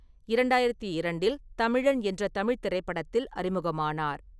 இரண்டாயிரத்தி இரண்டில் தமிழன் என்ற தமிழ்த் திரைப்படத்தில் அறிமுகமானார்.